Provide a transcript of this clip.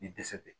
I dɛsɛ bɛ